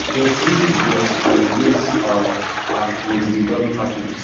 dem seize di drugs and replace um am wit dummy packages